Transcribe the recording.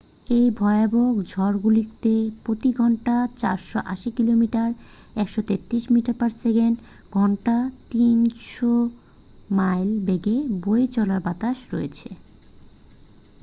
এই ভয়াবহ ঝড়গুলিতে প্রতি ঘন্টায় ৪৮০ কিমি ১৩৩ মিটার/সেকেন্ড; ঘন্টায় ৩০০ মাইল বেগে বয়ে চলা বাতাস রয়েছে।